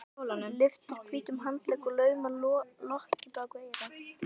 Lyftir hvítum handlegg og laumar lokki á bak við eyra.